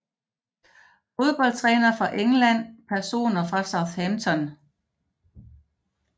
Fodboldtrænere fra England Personer fra Southampton